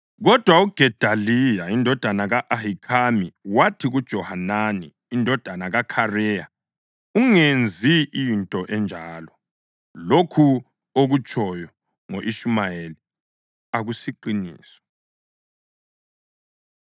Kodwa uGedaliya indodana ka-Ahikhami wathi kuJohanani indodana kaKhareya, “Ungenzi into enjalo. Lokhu okutshoyo ngo-Ishumayeli akusiqiniso.”